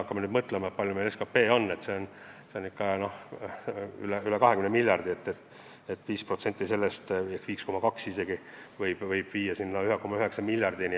Kui me mõtleme, et SKP on meil üle 20 miljardi, siis 5% või isegi 5,2% sellest on väga suur summa.